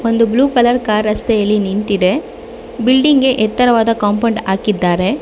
ಒಂದು blue colour car ರಸ್ತೆಯಲ್ಲಿ ನಿಂತಿದೆ ಬಿಲ್ಡಿಂಗ್ಗೆ ಎತ್ತರವಾದ ಕಾಂಪೌಂಡ್ ಹಾಕಿದ್ದಾರೆ.